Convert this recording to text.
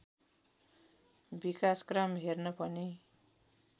विकासक्रम हेर्न पनि